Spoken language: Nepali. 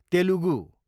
तेलुगू